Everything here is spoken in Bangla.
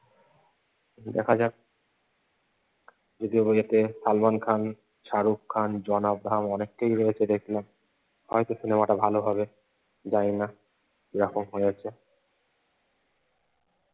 কিন্তু দেখা যাক যদিও বইয়েতে সালমান খান, শাহরুখ খান, জন আব্রাহাম অনেকেই রয়েছে দেখলাম। হয়তো সিনেমাটা ভালো হবে, জানি না কিরকম হয়েছে।